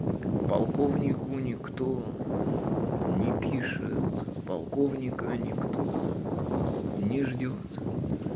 полковнику некто не пишет полковника никто не ждёт